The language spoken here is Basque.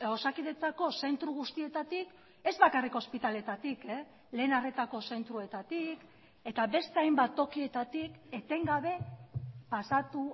osakidetzako zentro guztietatik ez bakarrik ospitaleetatik lehen arretako zentroetatik eta beste hainbat tokietatik etengabe pasatu